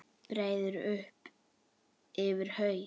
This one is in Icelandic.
Breiði upp yfir haus.